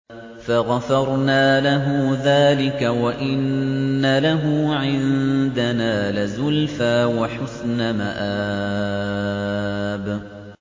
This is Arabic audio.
فَغَفَرْنَا لَهُ ذَٰلِكَ ۖ وَإِنَّ لَهُ عِندَنَا لَزُلْفَىٰ وَحُسْنَ مَآبٍ